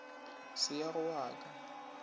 se ya go wa ka